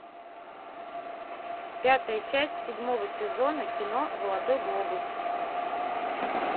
пятая часть седьмого сезона кино золотой глобус